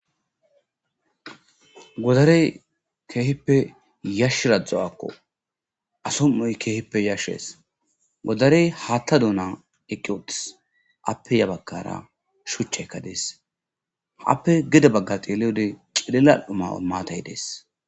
Godarey keehippe yashshiradzdzawakko asom'oy keehippe yashshees godarey haatta duuna eqqi otis appe ya baggara shuchekka dees haappe gede bagga teleode qilillal'uma maatay dees